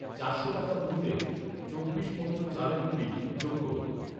চারশো টাকা মূল্যের চব্বিশ মন্ত্র চালের গুঁড়ি যোগ করুন